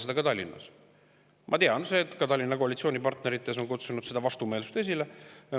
Ma tean, et ka Tallinna koalitsioonipartnerites on see kutsunud vastumeelsust esile.